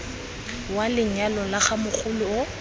wa lenyalo la ga mogoloo